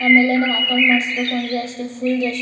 ಆಮೇಲೆ ನಾವು ಅಕೌಂಟ್ ಮಾಡ್ ಸ್ಬೇಕು ಅಂದ್ರೆ ಅಷ್ಟೆ ಫುಲ್ಲ್ ರಶ್ --